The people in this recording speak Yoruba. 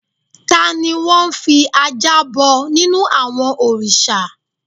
Tani wọ́n n fi ajá bọ nínú àwọn òrìsà?